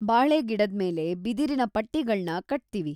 ಬಾಳೆಗಿಡದ್ಮೇಲೆ ಬಿದಿರಿನ ಪಟ್ಟಿಗಳ್ನ ಕಟ್ತೀವಿ.